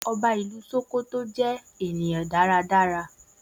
Oba ilú Ṣòkòtò je èèyàn dáradára.